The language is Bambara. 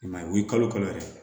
I m'a ye wuli kalo yɛrɛ ye